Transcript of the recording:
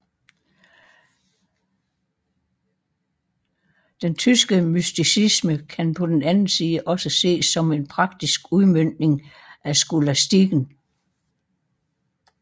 Den tyske mysticisme kan på den anden side også ses som en praktisk udmøntning af skolastikken